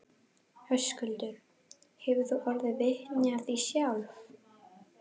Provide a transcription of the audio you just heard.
Höskuldur: Hefur þú orðið vitni af því sjálf?